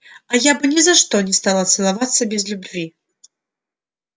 а я бы ни за что не стала целоваться без любви